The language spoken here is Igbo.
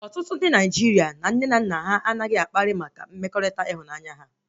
Ọtụtụ ndị Naịjirịa na nne na nna ha anaghị akpa maka mmekọrịta ịhụnanya